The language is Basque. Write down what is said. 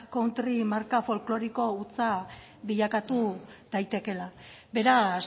country marka folkloriko hutsa bilakatu daitekeela beraz